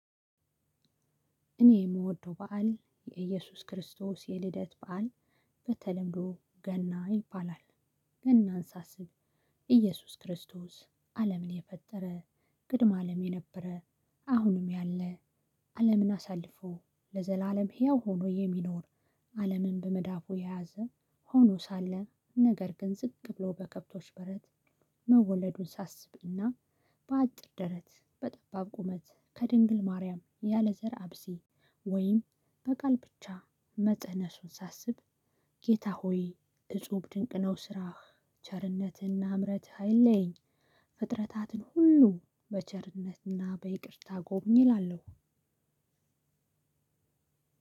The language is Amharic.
እኔ የምወደው በዓል የኢየሱስ ክርስቶስ የልደት በዓል በተለምዶ ገና ይባላል። ገናን ሳስብ ኢየሱስ ክርስቶስ አለምን የፈጠረ ቅድመ አለም የነበረ አሁንም ያለ አለምን አሳልፎ ለዘላለም ህያው ሆኖ የሚኖር አለምን በመዳፉ የያዘ ሆኖ ሳለ ነገር ግን ዝቅ ብሎ በከብቶች በረት መወለዱን ሳስብና በአጭር ደረት በጠባብ ቁመት ከድንግል ማርያም ያለዘር አብሲ ወይም በቃል ብቻ መጸነሱን ሳስብ ጌታ ሆይ እፁብ ድንቅ ነው ስራህ ቸርነትህና ምረትህ አይለየኝ ፍጥረታትን ሁሉ በቸርነትና በይቅርታ ጎብኝ እላለሁ።